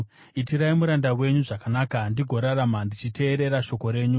Itirai muranda wenyu zvakanaka, ndigorarama; ndichateerera shoko renyu.